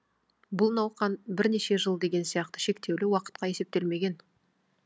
бұл науқан бірнеше жыл деген сияқты шектеулі уақытқа есептелмеген